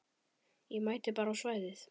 Ég mæti bara á svæðið.